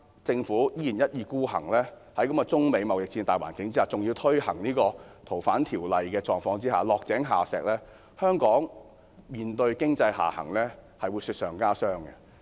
在貿易戰的大環境之下，政府現時依然一意孤行修訂《逃犯條例》，我很擔心這做法是落井下石，香港面對經濟下行的狀況將會雪上加霜。